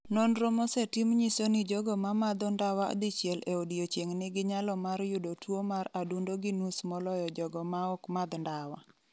Nonro mosetim nyiso ni jogo ma madho ndawa dichiel e odiechieng' nigi nyalo mar yudo tuwo mar adundo gi nus moloyo jogo maok madh ndawa.